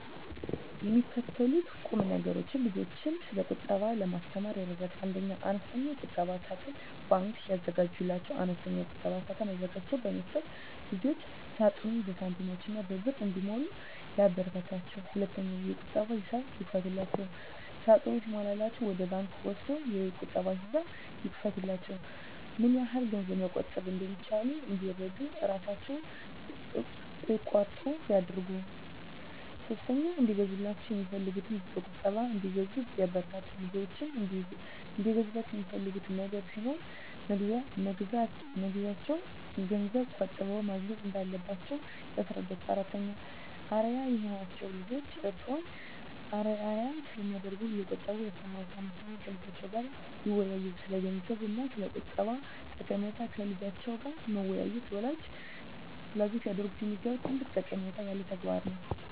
የሚከተሉት ቁምነገሮች ልጆችን ስለቁጠባ ለማስተማር ይረዳሉ 1. አነስተኛ የቁጠባ ሳጥን (ባንክ) ያዘጋጁላቸው፦ አነስተኛ የቁጠባ ሳጥን አዘጋጅቶ በመስጠት ልጆችዎ ሳጥኑን በሳንቲሞችና በብር እንዲሞሉ ያበረታቷቸው። 2. የቁጠባ ሂሳብ ይክፈቱላቸው፦ ሳጥኑ ሲሞላላቸው ወደ ባንክ ወስደው የቁጠባ ሂሳብ ይክፈቱላቸው። ምንያህል ገንዘብ መቆጠብ እንደቻሉ እንዲረዱ እራሣቸው እቆጥሩ ያድርጉ። 3. እንዲገዛላቸው የሚፈልጉትን በቁጠባ እንዲገዙ ያበረታቱ፦ ልጆችዎ እንዲገዙላቸው የሚፈልጉት ነገር ሲኖር መግዣውን ገንዘብ ቆጥበው ማግኘት እንዳለባቸው ያስረዷቸው። 4. አርአያ ይሁኗቸው፦ ልጆችዎ እርስዎን አርአያ ስለሚያደርጉ እየቆጠቡ ያስተምሯቸው። 5. ከልጆችዎ ጋር ይወያዩ፦ ስለገንዘብ እና ስለቁጠባ ጠቀሜታ ከልጆች ጋር መወያየት ወላጆች ሊያደርጉት የሚገባ ትልቅ ጠቀሜታ ያለው ተግባር ነው።